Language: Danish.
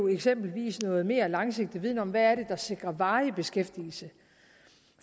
eksempelvis noget mere langsigtet viden om hvad det er der sikrer varig beskæftigelse